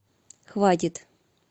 хватит